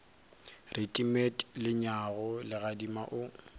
re timet lenyaga legadima o